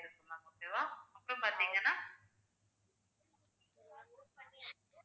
okay வா அப்புறம் பாத்தீங்கன்னா